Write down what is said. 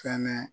Fɛnɛ